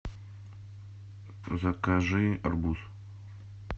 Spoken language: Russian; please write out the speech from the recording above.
закажи арбуз